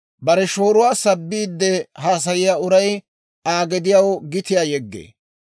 Bare shooruwaa sabbiide haasayiyaa uray, Aa gediyaw gitiyaa yeggee.